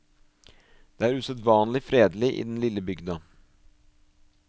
Det er usedvanlig fredelig i den lille bygda.